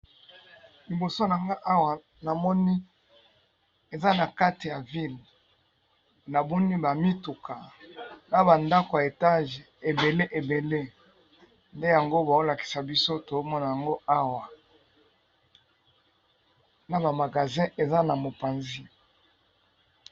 Liboso na nga awa na moni eza na kati ya ville, na moni ba mituka na ba ndaku ya étage ébélé ébélé, nde yango bazo lakisa biso tozo mona yango awa, na ba magasins eza na mopanzi .